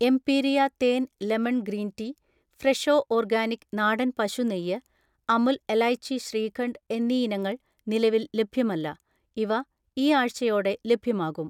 എംപീരിയ തേൻ lemon green tea, Fresho organic നാടൻ പശു നെയ്യ്, അമുൽ എലൈച്ചി ശ്രീഖണ്ഡ് എന്നീ ഇനങ്ങൾ നിലവിൽ ലഭ്യമല്ല, ഇവ ഈ ആഴ്ചയോടെ ലഭ്യമാകും